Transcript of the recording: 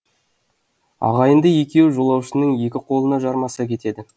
ағайынды екеуі жолаушының екі қольна жармаса кетеді